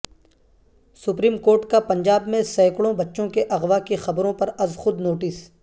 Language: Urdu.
سپریم کورٹ کا پنجاب میں سیکڑوں بچوں کے اغوا کی خبروں پر از خود نوٹس